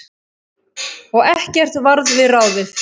Og ekkert varð við ráðið.